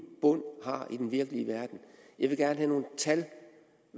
bund har i den virkelige verden jeg vil gerne have nogle tal